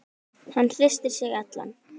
Hann hristir sig allan.